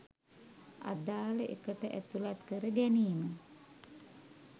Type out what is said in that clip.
අදාල එකට ඇතුලත් කර ගැනීම